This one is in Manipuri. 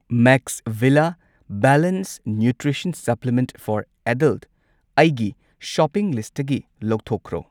ꯃꯦꯛꯁꯚꯤꯂꯥ balance nutrition supplement for adult ꯑꯩꯒꯤ ꯁꯣꯄꯤꯡ ꯂꯤꯁꯠꯇꯒꯤ ꯂꯧꯊꯣꯛꯈ꯭ꯔꯣ꯫